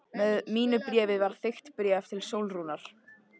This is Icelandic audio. Með mínu bréfi var þykkt bréf til Sólrúnar.